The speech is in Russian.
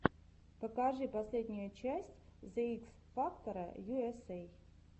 покажи последнюю часть зе икс фактора ю эс эй